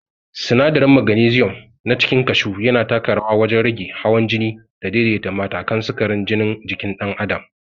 Sinadarin magnesium na cikin kashu yana taka rawa wajen rage hawan jini da daidaita matakan sukarin jinin jikin dan'adam.